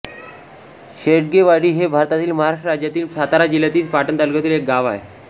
शेडगेवाडी हे भारतातील महाराष्ट्र राज्यातील सातारा जिल्ह्यातील पाटण तालुक्यातील एक गाव आहे